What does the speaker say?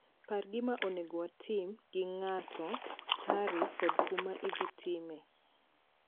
Par gima onego watim gi nga'ato, tarik kod kuma idh time